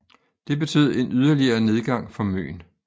Det betød en yderligere nedgang for Møn